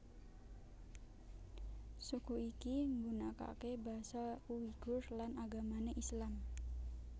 Suku iki nggunakake basa Uighur lan agamane Islam